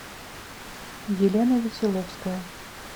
елена веселовская